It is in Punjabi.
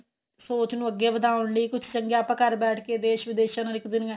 ਸੋਚ ਨੂੰ ਅੱਗੇ ਵਧਾਉਣ ਲਈ ਕੁੱਝ ਆਪਾਂ ਘਰ ਬੈਠ ਕੇ ਦੇਸ਼ ਵਿਦੇਸ਼ ਨਾਲ ਇੱਕ ਦੁਨੀਆਂ